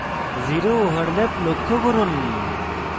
zero overlap লক্ষ্য করুন